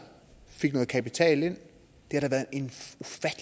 fik noget kapital ind